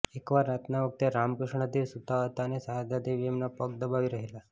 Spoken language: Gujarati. એક વાર રાતના વખતે રામકૃષ્ણદેવ સુતા હતા ને શારદાદેવી એમના પગ દબાવી રહેલા